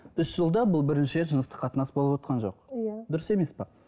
үш жылда бұл бірінші рет жыныстық қатынас болыватқан жоқ иә дұрыс емес пе